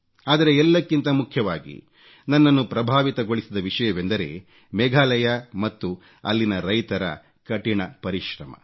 ಆದರೆ ಎಲ್ಲಕ್ಕಿಂತ ಮುಖ್ಯವಾಗಿ ನನ್ನನ್ನು ಪ್ರಭಾವಿತಗೊಳಿಸಿದ ವಿಷಯವೆಂದರೆ ಮೇಘಾಲಯ ಮತ್ತು ಅಲ್ಲಿನ ರೈತರ ಕಠಿಣ ಪರಿಶ್ರಮ